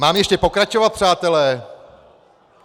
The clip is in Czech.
Mám ještě pokračovat, přátelé?